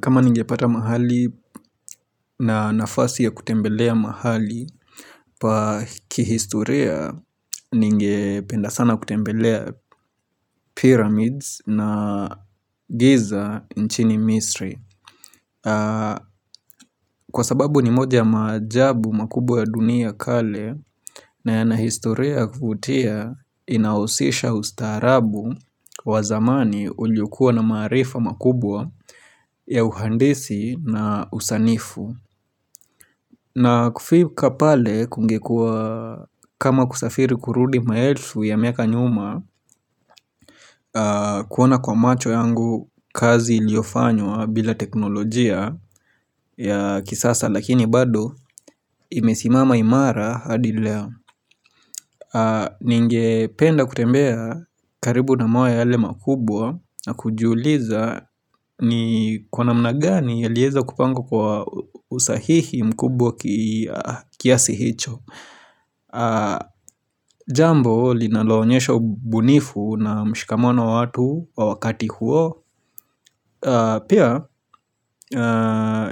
Kama ninge pata mahali na nafasi ya kutembelea mahali, pa kihistoria ningependa sana kutembelea pyramids na giza nchini misri. Kwa sababu ni moja majabu makubwa ya dunia kale na yana historia kufutia inaosisha ustarabu wa zamani ulyokua na marifa makubwa ya uhandisi na usanifu. Na kufika pale kungekua kama kusafiri kurudi maelfu ya miaka nyuma kuona kwa macho yangu kazi iliofanywa bila teknolojia ya kisasa lakini bado imesimama imara hadi leo. Ninge penda kutembea karibu na mawe yale makubwa na kujuliza ni kwa namnagani ya lieza kupangwa kwa usahihi mkubwa kiasi hicho. Jambo linaloonyesha ubunifu na mshikamono watu wa wakati huo Pia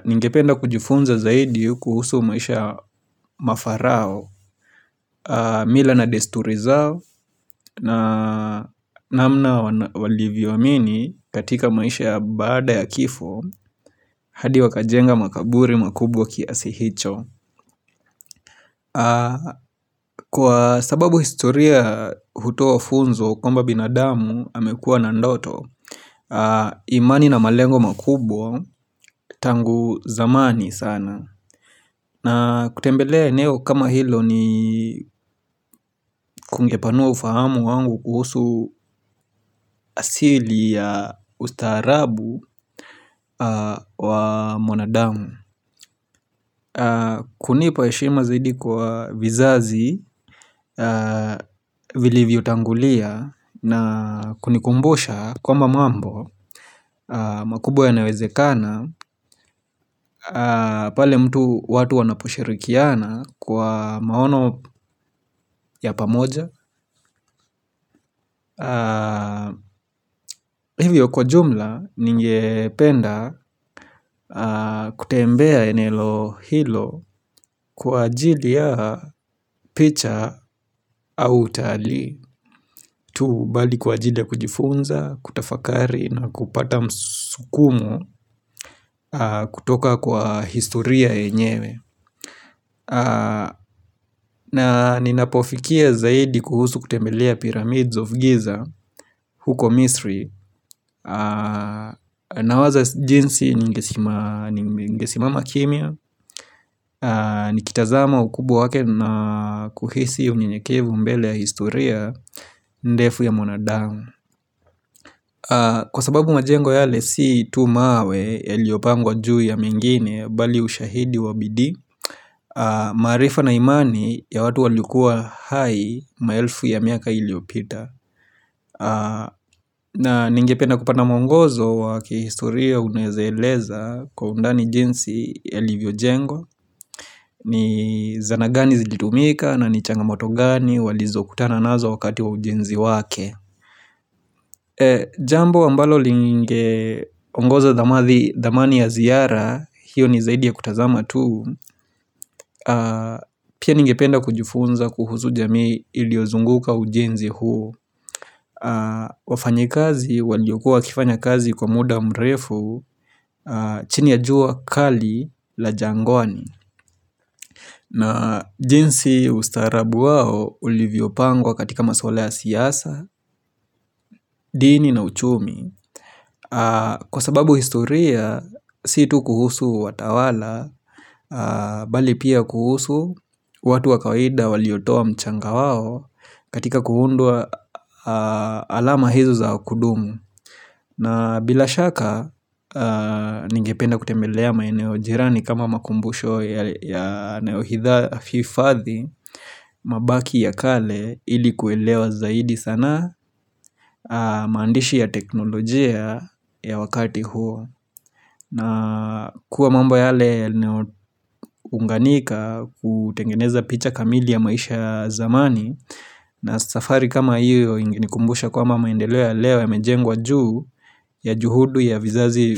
ningependa kujifunza zaidi kuhusu maisha mafarao mila na desturi zao na namna walivyoamini katika maisha bada ya kifo hadi wakajenga makaburi makubwa kiasi hicho Kwa sababu historia hutoa funzo kwamba binadamu hamekua na ndoto imani na malengo makubwa tangu zamani sana na kutembelea eneo kama hilo ni kungepanua ufahamu wangu kuhusu asili ya ustaarabu wa mwanadamu kunipa eshima zaidi kwa vizazi vilivyo tangulia na kunikumbusha kwamba mambo makubwa yanawezekana pale mtu watu wanaposhirikiana kwa maono ya pamoja. Hivyo kwa jumla ningependa kutembea enelo hilo kwa ajili ya picha au utali tu bali kwa ajili ya kujifunza, kutafakari na kupata msukumo kutoka kwa historia enyewe na ninapofikia zaidi kuhusu kutembelea pyramids of giza huko misri Nawaza jinsi ningesimama kimia ni kitazama ukubwa wake na kuhisi unyenyekevu mbele ya historia ndefu ya monadangu Kwa sababu majengo yale si tu mawe yaliopangwa juu ya mengine Bali ushahidi wabidi marifa na imani ya watu walikuwa hai maelfu ya miaka iliopita na ningependa kupata mwongozo wakihistoria unezeleza kwa undani jinsi yaLivio Jengwa ni zana gani zilitumika na ni changa moto gani walizo kutana nazo wakati wa ujenzi wake Jambo ambalo linge ongoza damadhi damani ya ziyara hiyo ni zaidi ya kutazama tu Pia ningependa kujufunza kuhuzu jami iliozunguka ujenzi huo wafanyikazi waliokua wakifanya kazi kwa muda mrefu chini ya jua kali la jangwani na jinsi ustarabu wao uliviopangwa katika maswala siyasa, dini na uchumi kwa sababu historia, situ kuhusu watawala bali pia kuhusu, watu wakawaida waliotowa mchanga waho katika kuhundua alama hizo za kudumu na bila shaka ningependa kutembelea maeneo jirani kama makumbusho ya neohitha afifadhi mabaki ya kale ili kuelewa zaidi sana maandishi ya teknolojia ya wakati huo. Na kuwa mambo yale yanaunganika kutengeneza picha kamili ya maisha zamani na safari kama hiyo ingine kumbusha kwamba maendeleo ya leo yamejengwa juu ya juhudu ya vizazi.